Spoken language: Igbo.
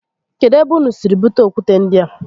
Kedu ebe ụnụ siri bute okwute ndịa?